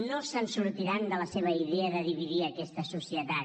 no se’n sortiran de la seva idea de dividir aquesta societat